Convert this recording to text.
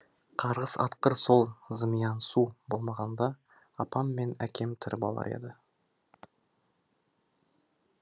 қарғыс атқыр сол зымиян су болмағанда апам мен әкем тірі болар еді